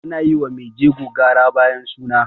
ana yi wa maijego gara bayan suna